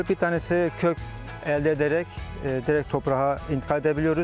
Bir tanəsi kök əldə edərək direkt torpağa intikal edə biliyoruz.